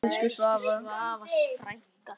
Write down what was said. Elsku Svava frænka.